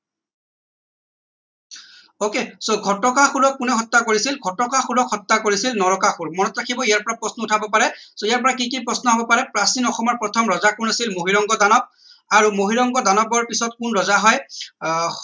ok so ঘটকাসুৰক কোনে হত্যা কৰিছিল ঘটকাসুৰক হত্যা কৰিছিল নৰকাসুৰ মনত ৰাখিব ইয়াৰ পৰা প্ৰশ্ন উঠাব পাৰে so ইয়াৰ পৰা কি কি প্ৰশ্ন হব পাৰে প্ৰাচীন অসমৰ প্ৰথম ৰজা কোন আছিল মহীৰংগ দানৱ আৰু মহীৰংগ দানৱৰ পিছত কোন ৰজা হয় আহ